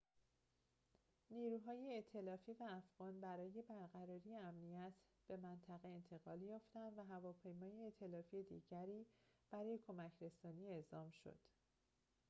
نیروهای ائتلافی و افغان برای برقراری امنیت به منطقه انتقال یافتند و هواپیمای ائتلافی دیگری برای کمک‌رسانی اعزام شد